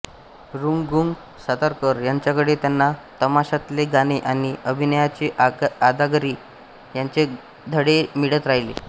रंगूगंगू सातारकर यांच्याकडे त्यांना तमाशातले गाणे आणि अभिनयाची अदाकारी याचे धडे मिळत राहिले